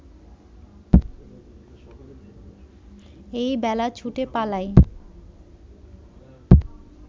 এই বেলা ছুটে পালাই